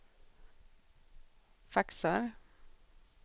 faxar